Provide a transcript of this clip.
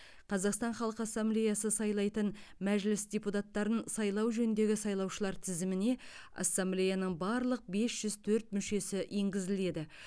қазақстан халық ассамблеясы сайлайтын мәжіліс депутаттарын сайлау жөніндегі сайлаушылар тізіміне ассемблеяның барлық бес жүз төрт мүшесі енгізіледі